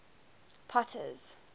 potter's